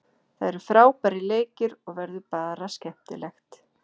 Það eru frábærir leikir og verður bara skemmtilegt.